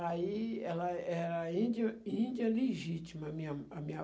Aí ela era índio índia legítima, a minha a minha